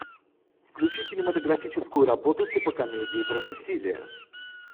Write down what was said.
включи кинематографическую работу типа комедии про насилие